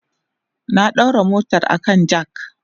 na daura motar a kan jack